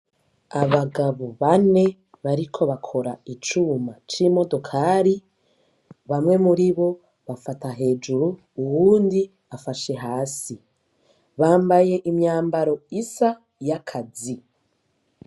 abagabo bane bariko bakora icuma c'imodokari, bamwe muribo bafata hejuru, uwundi afata hasi, bambaye imyambaro isa y'akazi.